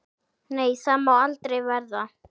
Nei, það má aldrei verða.